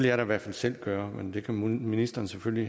jeg da i hvert fald selv gøre men det kan ministeren selvfølgelig